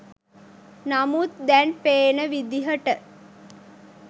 නමුත් දැන් පේන විදිහට